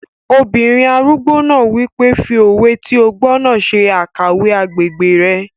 Obìnrin arúgbó náà wípé, "fi òwe tí o gbọ́ náà ṣe àkàwé agbègbè rẹ̀